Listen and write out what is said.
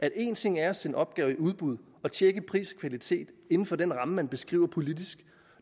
at en ting er at sende opgaver i udbud og tjekke pris og kvalitet inden for den ramme som man beskriver politisk